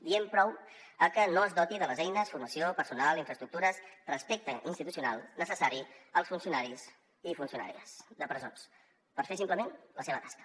diem prou a que no es doti de les eines formació personal infraestructures respecte institucional necessari als funcionaris i funcionàries de presons per fer simplement la seva tasca